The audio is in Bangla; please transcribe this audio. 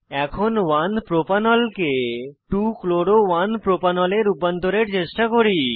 এখন 1 প্রোপানল কে 2 chloro 1 প্রোপানল এ রূপান্তরের চেষ্টা করি